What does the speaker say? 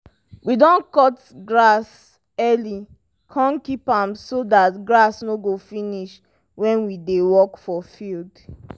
we don cut grass early kon keep am so dat grass no go finish when we dey work for field. um